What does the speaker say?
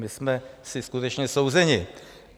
My jsme si skutečně souzeni.